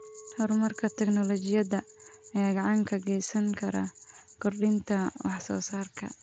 Horumarka tignoolajiyada ayaa gacan ka geysan kara kordhinta wax soo saarka.